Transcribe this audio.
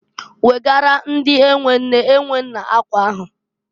Wegaara ndị e nwe nne e nwe nna akwa ahụ!